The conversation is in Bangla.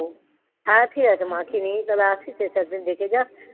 হ্যাঁ ঠিক আছে মাকে নিয়ে তাহলে আসিস এসে ওদের দেখে যাস,